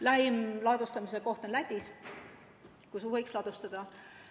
Lähim koht on Lätis, kus võiks ladustada.